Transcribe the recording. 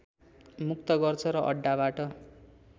मुक्त गर्छ र अड्डाबाट